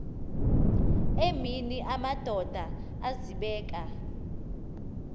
emini amadoda azibeka